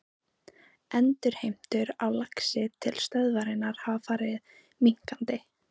Endurheimtur á laxi til stöðvarinnar hafa farið minnkandi.